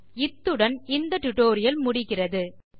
இத்துடன் இந்த டியூட்டோரியல் முடிகிறது தமிழாக்கம் கடலூர் திவா நன்றி